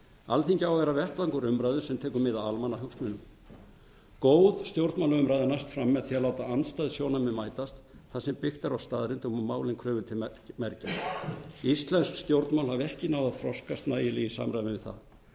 alþingi á að vera vettvangur umræðu sem tekur mið af almannahagsmunum góð stjórnmálaumræða næst fram með því að láta andstæð sjónarmið mætast þar sem byggt er á staðreyndum og málin eru krufin til mergjar íslensk stjórnmál hafa ekki náð að þroskast nægilega í samræmi við